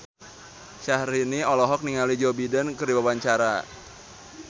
Syahrini olohok ningali Joe Biden keur diwawancara